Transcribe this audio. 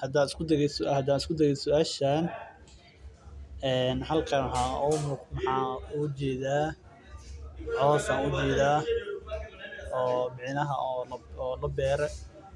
Hadaan isku dayo suashan hal qeeb waxaan ujeeda coos labeere